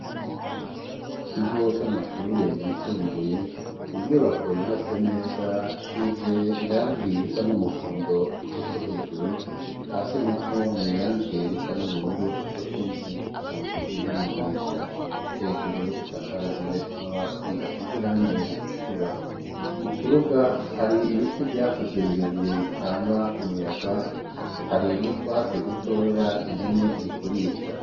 Ikigoco amashure yisumbuye ni inyubako yubatse neza isize irangira isa n'umuhondo igice co hejuru hasi na ho ni irangiye risa n'ubururu co kimwen kunzugi n'amadirisha hejuru isakajwe amabati asize irangeye ritukuramu kibuga hari ibiti vyakuze birebire bitanga umuyaga harin utwatse dutoya impene irikurisha.